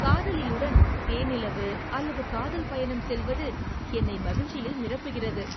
காதலியுடன் தேனிலவு அல்லது காதல் பயணம் செல்வது என்னை மகிழ்ச்சியில் நிரப்புகிறது.